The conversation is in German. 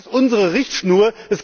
Das ist unsere Richtschnur.